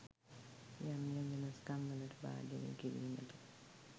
යම් යම් වෙනස්කම් වලට භාජනය කිරීමට